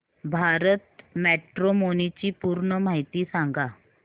Bharat matrimony ची पूर्ण माहिती सांगा